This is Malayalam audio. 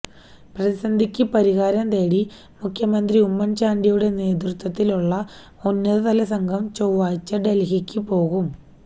പ്രതിസന്ധിക്ക് പരിഹാരം തേടി മുഖ്യമന്ത്രി ഉമ്മന് ചാണ്ടിയുടെ നേതൃത്വത്തിലുള്ള ഉന്നതതലസംഘം ചൊവ്വാഴ്ച ഡല്ഹിക്ക് പോകും